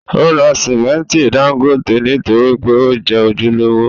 Ó ra simẹnti dángótè nítorí pé ó jẹ́ ojúlówó.